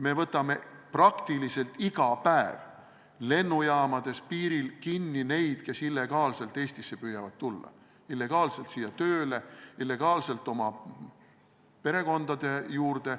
Me võtame praktiliselt iga päev lennujaamades ja mujal piiril kinni inimesi, kes püüavad illegaalselt Eestisse tulla – illegaalselt siia tööle, illegaalselt oma perekondade juurde.